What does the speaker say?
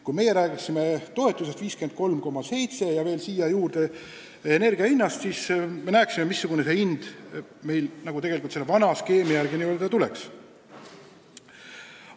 Kui meie räägiksime toetusest 53,7 eurot ja veel sinna juurde energia hinnast, siis me näeksime, missugune see hind vana skeemi järgi tuleks.